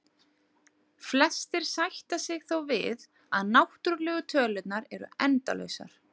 Flestir sætta sig þó við að náttúrlegu tölurnar eru endalausar.